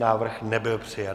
Návrh nebyl přijat.